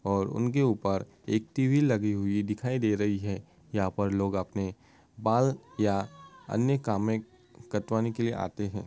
और उनके ऊपर एक टी.वी. लगी हुए दिखाई दे रही है। यहाँ पर लोग अपने बाल या अन्य कामे कटवाने के लिए आते हैं।